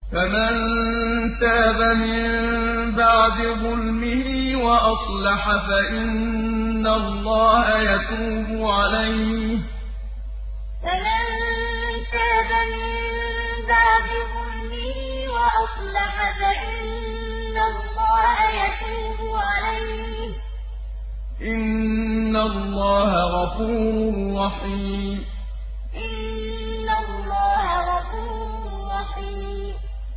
فَمَن تَابَ مِن بَعْدِ ظُلْمِهِ وَأَصْلَحَ فَإِنَّ اللَّهَ يَتُوبُ عَلَيْهِ ۗ إِنَّ اللَّهَ غَفُورٌ رَّحِيمٌ فَمَن تَابَ مِن بَعْدِ ظُلْمِهِ وَأَصْلَحَ فَإِنَّ اللَّهَ يَتُوبُ عَلَيْهِ ۗ إِنَّ اللَّهَ غَفُورٌ رَّحِيمٌ